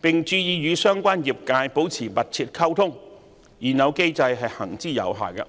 並注意與相關業界保持密切溝通，現有機制是行之有效的。